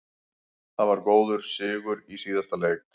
Það var góður sigur í síðasta leik.